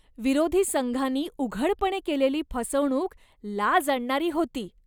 विरोधी संघानी उघडपणे केलेली फसवणूक लाज आणणारी होती.